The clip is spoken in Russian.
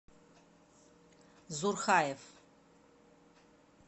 зурхаев